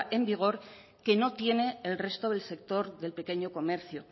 en vigor que no tiene el resto del sector del pequeño comercio